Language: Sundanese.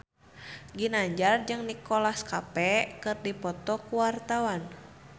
Ginanjar jeung Nicholas Cafe keur dipoto ku wartawan